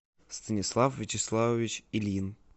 станислав вячеславович ильин